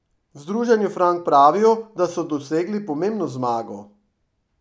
V združenju Frank pravijo, da so dosegli pomembno zmago.